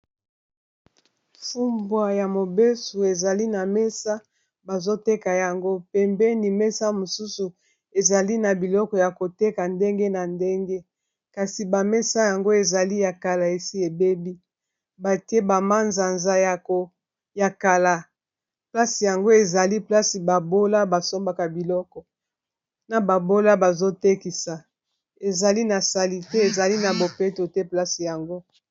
Fumbwa ya mobesu ezali na mesa bazoteka yango pembeni mesa mosusu ezali na biloko ya koteka ndenge na ndenge kasi bamesa yango ezali ya kala esi ebebi batie bamanzanza ya kala place yango ezali place babola basombaka biloko na babola bazotekisa ezali na sali te ezali na bopeto te place yango